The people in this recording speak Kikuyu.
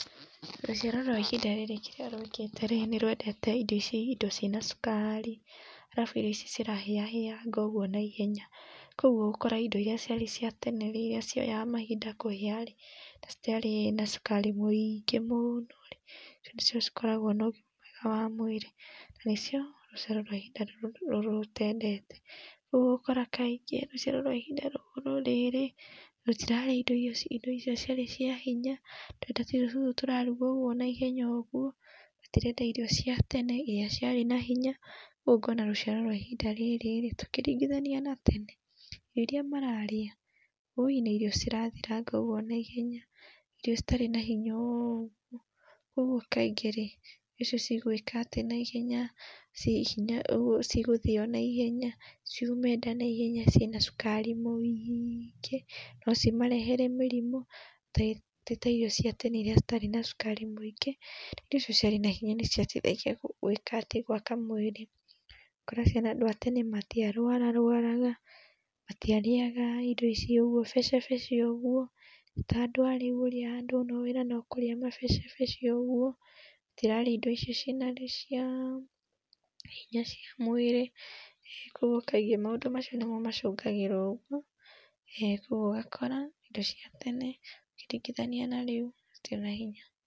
Rũciaro rwa ihinda rĩrĩ kĩríĩ rwĩkĩte rĩ nĩ rwendete indo cina cukari, arabu irio ici cirahĩa hĩanga ũguo naihenya, kwoguo ũgakora indo iria ciarĩ cia tene rĩrĩa cioyaga mainda kũhia na citiarĩ na cukari mũingĩ mũno rĩ rĩu nĩcio cikoragwo na ũgima mwega wa mwĩrĩ, na nĩcio rũciaro rwa ihinda rĩrĩ rũtendete, ũguo ũgakora kaĩngĩ rũciaro rwa ihinda rĩrĩ rũtirarĩa índo icio ciarĩ cia hinya, rũrenda tũirio tũtũ tũrarugwo naihenya ũguo, tũtirenda irio cia tene iria ciarĩ na hinya ũguo ũkona rũciaro rwa ihinda rĩrĩ ũkĩringithania na tene indo iria mararĩa woi nĩ irio cirathiranga ũguo na ihenya irio citarĩ na hinya ũguo kwa ũguo kaĩngĩ rĩ irio icio cigwĩka atĩ na ihenya cigũthio na ihenya ciume nda na ihenya ciĩna cukari mũingĩ no cimarehere mũrĩmũ ti ta irio cia tene iria citarĩ na cukari mũingĩ irio icio ciarĩ na hinya nĩciateithagia gwĩka gwaka mwĩrĩ, ũgakora aciari a tene matiarwararwaraga matiarĩaga irio ici ũguo becebece ũguo, ti ta andũ arĩu ũrĩa andũ wĩra no kũrĩa mabecebece tũtirarĩa indo icio cinarĩ hinya cia mwĩrĩ kwogũo kaĩngĩ maũndũ macio nĩmo macũngagĩra ũguo ũgakora indo cia tene, ũkĩringithania na rĩu, citirĩ na hinya.